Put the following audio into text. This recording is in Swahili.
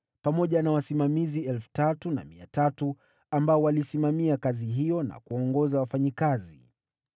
pamoja na wasimamizi 3,300 ambao walisimamia kazi hiyo na kuwaongoza wafanyakazi.